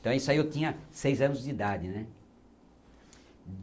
Então isso aí eu tinha seis anos de idade, né?